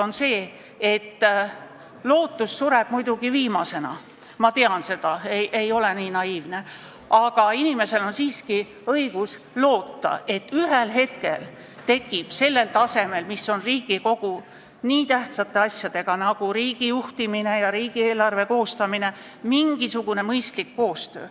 Tahan öelda, et lootus sureb viimasena – ma tean seda, ma ei ole naiivne –, aga inimesel on siiski õigus loota, et ühel hetkel tekib Riigikogu tasemel, kus on tegu nii tähtsate asjadega nagu riigi juhtimine ja riigieelarve koostamine, mingisugune mõistlik koostöö.